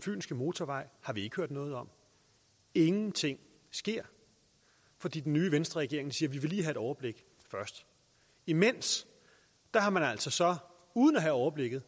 fynske motorvej har vi ikke hørt noget om ingenting sker fordi den nye venstreregering siger at et overblik først imens har man altså uden at have overblikket